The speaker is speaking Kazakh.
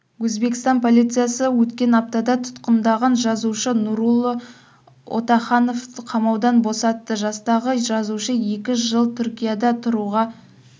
өзбекстан полициясы өткен аптада тұтқындаған жазушы нурулло отахановты қамаудан босатты жастағы жазушы екі жыл түркияда тұруға